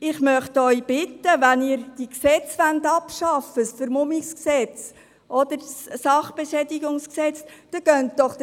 Ich bitte Sie, den demokratischen Weg zu gehen, wenn Sie Gesetze wie das Vermummungsverbot oder das Sachbeschädigungsgesetz abschaffen wollen.